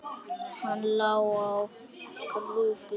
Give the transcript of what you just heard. Hann lá á grúfu.